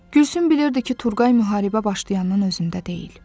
Gülsüm bilirdi ki, Turqay müharibə başlayandan özündə deyil.